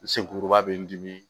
Sen kuruba bɛ n dimi